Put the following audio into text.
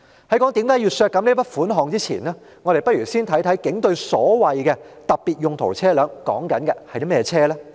在我解釋為何要削減這筆款項前，我們不如先了解警隊所謂的特別用途車輛是甚麼車輛。